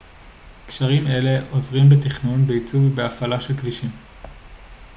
קשרים אלה עוזרים בתכנון בעיצוב ובהפעלה של כבישים